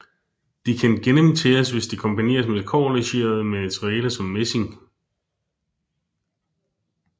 De kan gennemtæres hvis de kombineres med kobberlegerede materialer som messing